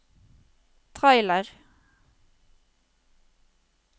trailer